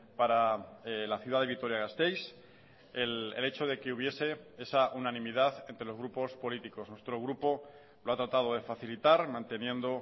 para la ciudad de vitoria gasteiz el hecho de que hubiese esa unanimidad entre los grupos políticos nuestro grupo lo ha tratado de facilitar manteniendo